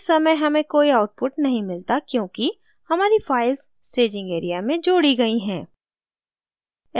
इस समय हमें कोई output नहीं मिलता क्योंकि हमारी files staging area में जोड़ी गयी हैं